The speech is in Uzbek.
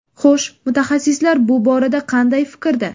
Xo‘sh, mutaxassislar bu borada qanday fikrda?